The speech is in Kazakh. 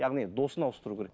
яғни досын ауыстыру керек